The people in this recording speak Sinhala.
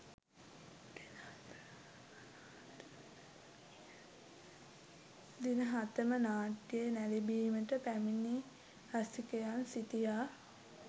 දින හතම නාට්‍ය නැරඹීමට පැමිණි රසිකයන් සිටියා.